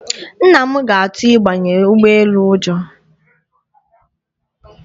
Nna m ga-atụ ịbanye ụgbọ elu ụjọ.